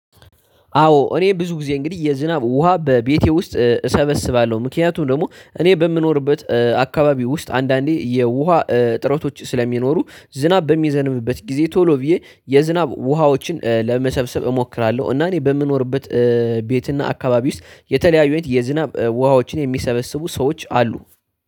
አዎ እኔ ብዙ ጊዜ እንግዲህ የዝናብ ውሃ በቤቴ ውስጥ እሰበስባለሁ ምክንያቱም ደግሞ እኔ በምኖርበት አካባቢ ውስጥ አንዳንዴ የውሃ እጥረቶች ስለሚኖሩ ዝናብ በሚዘንብበት ጊዜ ቶሎ ብዬ የዝናብ ውሃዎችን ለመሰብሰብ እሞክራለሁ። እና እኔ በምኖርበት ቤት እና አካባቢ ውስጥ የተለያዩ አይነት የዝናብ ውሃዎችን የሚሰበስቡ ሰዎች አሉ